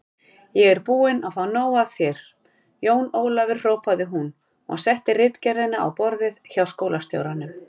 Ég er búin að fá nóg af þér, Jón Ólafur hrópaði hún og setti ritgerðina á borðið hjá skólastjóranum.